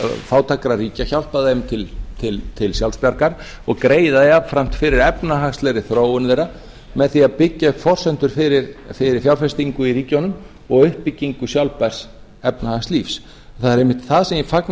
fátækra ríkja hjálpa þeim til sjálfsbjargar og greiða jafnframt fyrir efnahagslegri þróun þeirra með því að byggja upp forsendur fyrir fjárfestingu í ríkjunum og uppbyggingu sjálfbærs efnahagslífs það er einmitt það sem ég fagna